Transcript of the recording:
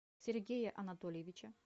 сергея анатольевича